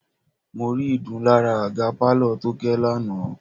Mo rí ìdun lára àga pálọ̀ Tóké lánàá.